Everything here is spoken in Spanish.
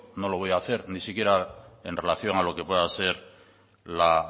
no lo voy hacer ni siquiera en relación a lo que pueda ser la